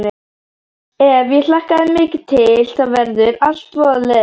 Ef ég hlakka mikið til þá verður allt voða leiðinlegt.